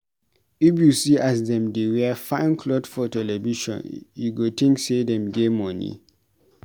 If you see as dem dey wear fine clot for television you go tink sey dem get moni.